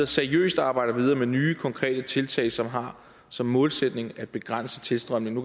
seriøst arbejder videre med nye konkrete tiltag som har som målsætning at begrænse tilstrømningen